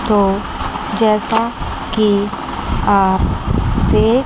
तो जैसा कि आप देख--